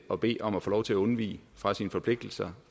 at bede om at få lov til at undvige sine forpligtelser